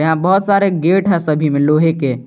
बहुत सारे गेट हैं सभी में लोहे के।